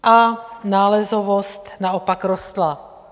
A nálezovost naopak rostla.